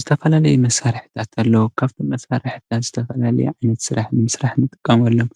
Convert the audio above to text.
ዝተፈላለዩ መሳርሕታት ኣለዉ፡፡ ካብቶም መሳርሕታት ዝተፈላለየ ዓይነት ስራሕ ንምስራሕ ንጥቀመሎም፡፡